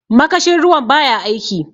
makashin ruwan ba ya aiki